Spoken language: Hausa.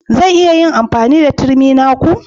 Zan iya yin amfani da turmi na ku?